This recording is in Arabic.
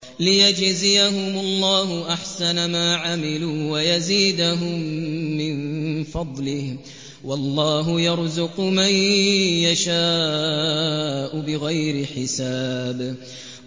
لِيَجْزِيَهُمُ اللَّهُ أَحْسَنَ مَا عَمِلُوا وَيَزِيدَهُم مِّن فَضْلِهِ ۗ وَاللَّهُ يَرْزُقُ مَن يَشَاءُ بِغَيْرِ حِسَابٍ